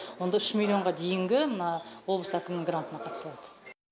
онда үш миллионға дейінгі мына облыс әкімінің грантына қатыса алады